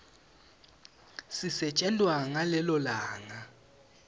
sisetjentwa ngalelo langa